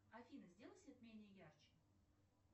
афина сделай свет менее ярче